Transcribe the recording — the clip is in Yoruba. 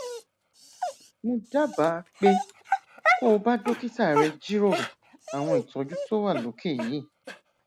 mo dábàá pé kó o bá dókítà rẹ jíròrò àwọn ìtọjú tó wà lókè yìí